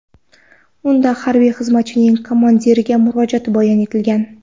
Unda harbiy xizmatchining komandiriga murojaati bayon etilgan.